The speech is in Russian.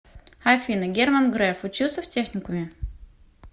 афина герман греф учился в техникуме